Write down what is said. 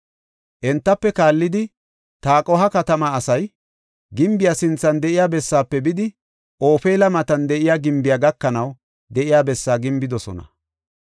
Entafe kaallidi Taqoha katamaa asay gimbiya sinthan de7iya bessaafe bidi, Ofeela matan de7iya gimbiya gakanaw de7iya bessaa gimbidosona.